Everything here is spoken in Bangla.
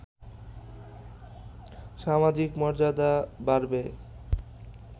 সামাজিক মর্যাদা বাড়বে